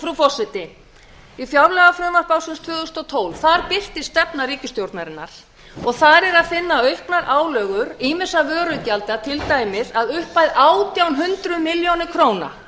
frú forseti í fjárlagafrumvarpi ársins tvö þúsund og tólf birtist stefna ríkisstjórnarinnar þar er að finna auknar álögur ýmissa vörugjalda til dæmis að upphæð átján hundruð milljóna króna